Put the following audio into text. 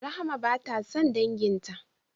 Rahama bata san danginta ba